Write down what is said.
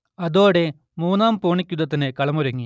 അതോടെ മൂന്നാം പൂണിക് യുദ്ധത്തിന് കളം ഒരുങ്ങി